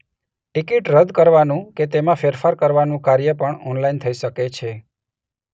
Ticket રદ કરવાનું કે તેમાં ફેરફાર કરવાનું કાર્ય પણ ઓનલાઇન થઈ શકે છે.